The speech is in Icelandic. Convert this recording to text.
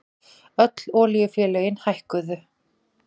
Öll olíufélögin hækkuðu